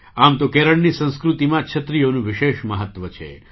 આમ તો કેરળની સંસ્કૃતિમાં છત્રીઓનું વિશેષ મહત્ત્વ છે